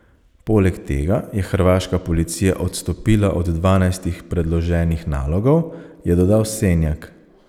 Poleg tega je hrvaška policija odstopila od dvanajstih predloženih nalogov, je dodal Senjak.